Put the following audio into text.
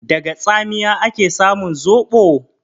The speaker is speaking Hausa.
Daga tsamiya ake samun zoɓo?